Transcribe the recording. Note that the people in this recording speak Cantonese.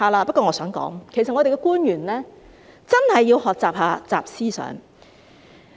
不過，我想說的是，我們的官員其實真的要學習"習思想"。